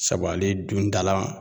Sabu ale dun dala